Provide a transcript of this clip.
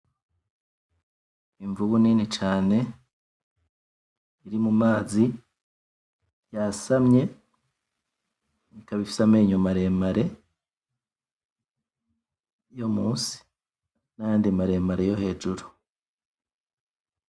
Imvubu nini cane iri mumazi yasamye, ikaba ifise amenyo maremare yo munsi, nayandi maremare yo hejuru.